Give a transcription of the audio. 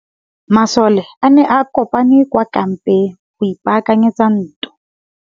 Masole a ne a kopane kwa kampeng go ipaakanyetsa ntwa.